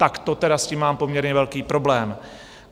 Tak to tedy s tím mám poměrně velký problém.